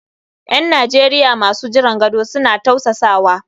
’Yan Najeriya masu jiran gado suna tausasawa.